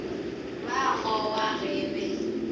ba a gowa ge be